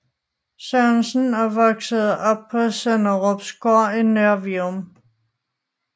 Sørensen og voksede op på Sønderupgård i Nørre Vium